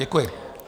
Děkuji.